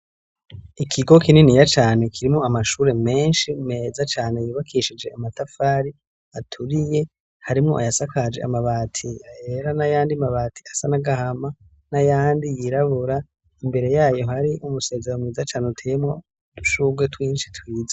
Ikigo kinini ya cane kirimo amashure menshi meza cane yubakishije amatafari aturiye harimwo ayasakaje amabati ahera n'a yandi mabati asa nagahama n'a yandi yirabura imbere yayo hari umusezero mweza cane uteyemwo dushurwe twinshi twiza.